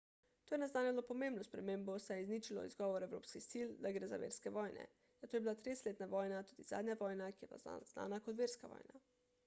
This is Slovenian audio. to je naznanjalo pomembno spremembo saj je izničilo izgovor evropskih sil da gre za verske vojne zato je bila tridesetletna vojna tudi zadnja vojna ki je bila znana kot verska vojna